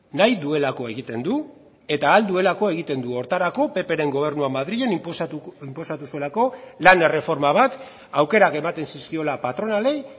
nahi duelako egiten du eta ahal duelako egiten du horretarako ppren gobernua madrilen inposatu zuelako lan erreforma bat aukerak ematen zizkiola patronalei